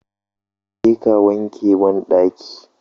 Je ka wanke banɗakin